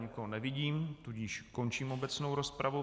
Nikoho nevidím, tudíž končím obecnou rozpravu.